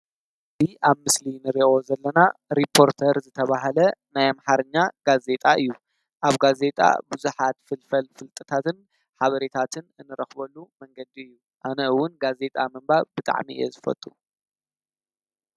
እድ ኣብ ምስሊ ንርእኦ ዘለና ሪጶርተር ዝተብሃለ ናያምሃርኛ ጋዜጣ እዩ ኣብ ጋዜጣ ብዙኃት ፍልፈል ፍልጥታትን ኃበሬታትን እንረኽበሉ መንገዲ እዩ ኣነእውን ጋዜጣ ምንባ ብጥዕሚ እየ ዝፈጡ።